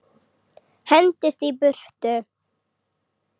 Hendist í burtu.